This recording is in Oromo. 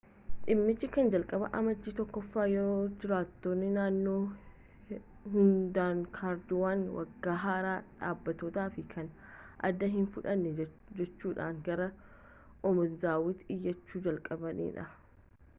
dhimmichi kan jalqabe amajjii 1ffaa yeroo jiraattonni naannoo hedduunkaardiiwwan waggaa haaraa dhaabbatoo fi kan aadaa hin fudhanne jechuudhaan gara obanazawatti iyyachuu jalqabanidha